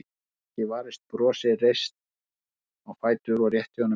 Hún gat ekki varist brosi, reis á fætur og rétti honum höndina.